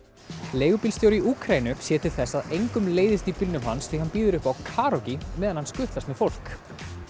leigubílstjóri í Úkraínu sér til þess að engum leiðist í bílnum hans því hann býður upp á karókí á meðan hann skutlast með fólk